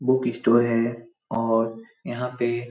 book store है और यहाँ पे --